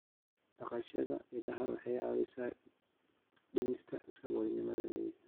Dhaqashada idaha waxay caawisaa dhimista saboolnimada miyiga.